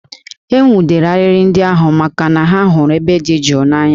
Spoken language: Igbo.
E nwụdere arịrị ndị ahụ n'ihi na ha hụrụ ebe dị jụụ n'anya